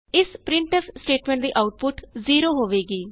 ਇਸ printf statement ਦੀ output 0 ਹੋਵੇਗੀ